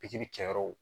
Pikiri kɛ yɔrɔw